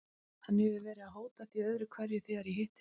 Hann hefur verið að hóta því öðru hverju þegar ég hitti hann.